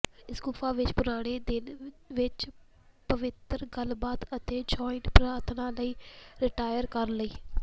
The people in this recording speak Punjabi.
ਇਸ ਗੁਫਾ ਵਿੱਚ ਪੁਰਾਣੇ ਦਿਨ ਵਿਚ ਪਵਿੱਤਰ ਗੱਲਬਾਤ ਅਤੇ ਜੁਆਇੰਟ ਪ੍ਰਾਰਥਨਾ ਲਈ ਰਿਟਾਇਰ ਕਰਨ ਲਈ